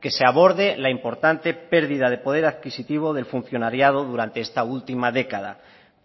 que se aborde la importante pérdida de poder adquisitivo del funcionariado durante esta última década